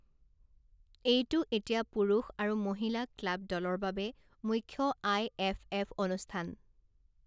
এইটো এতিয়া পুৰুষ আৰু মহিলা ক্লাব দলৰ বাবে মুখ্য আই এফ এফ অনুষ্ঠান।